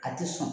A tɛ sɔn